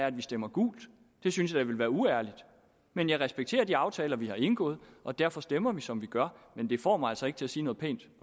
at vi stemmer gult synes jeg da ville være uærligt men jeg respekterer de aftaler vi har indgået og derfor stemmer vi som vi gør men det får mig altså ikke til at sige noget pænt